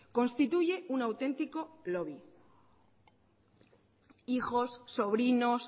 constituye un auténtico lobby hijos sobrinos